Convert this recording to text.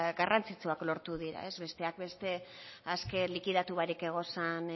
garrantzitsuak lortu dira beteak beste azken likidatu barik egozan